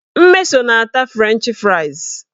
Mmeso na-ata frenchị frais